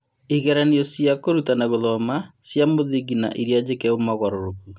Igeranio ĩrĩa cia kũrutana gũthoma : Cia mũthingi na iria njĩke mogarũrũku.